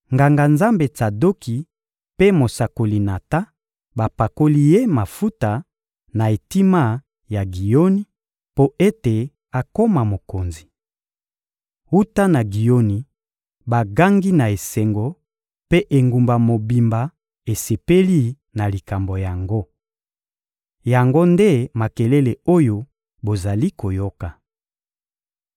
Nganga-Nzambe Tsadoki mpe mosakoli Natan bapakoli ye mafuta, na etima ya Giyoni, mpo ete akoma mokonzi. Wuta na Giyoni, bagangi na esengo, mpe engumba mobimba esepeli na likambo yango. Yango nde makelele oyo bozali koyoka.